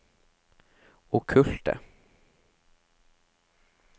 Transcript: okkulte